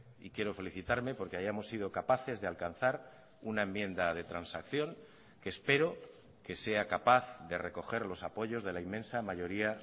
y quiero felicitarme porque hayamos sido capaces de alcanzar una enmienda de transacción que espero que sea capaz de recoger los apoyos de la inmensa mayoría